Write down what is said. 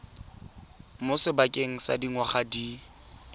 mo sebakeng sa dingwaga di